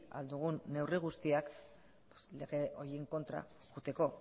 ahal dugun neurri guztiak horiek kontra ez joateko